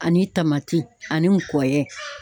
Ani tamati ani n kɔyɛ.